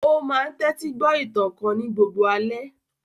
Ó máa n tẹ́tí gbọ́ ìtàn kan ní gbogbo alẹ́